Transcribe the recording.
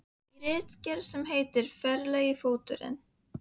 Í ritgerð sem heitir: Ferlegri fóturinn.